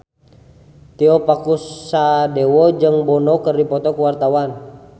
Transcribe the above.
Tio Pakusadewo jeung Bono keur dipoto ku wartawan